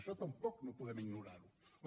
això tampoc no podem ignorar ho